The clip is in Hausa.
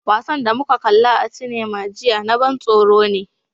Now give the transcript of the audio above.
Wasan da muka kalla a cinema jiya na ban tsoro ne.